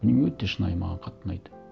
міне өте шынайы маған қатты ұнайды